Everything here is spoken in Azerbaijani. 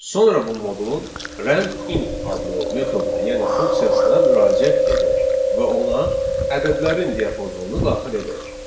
Sonra bu modulun rand int adlı metoduna, yəni funksiyasına müraciət edək və ona ədədlərin diapazonunu daxil edək.